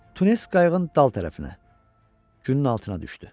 Tunes qayığın dal tərəfinə günün altına düşdü.